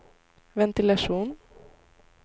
ventilation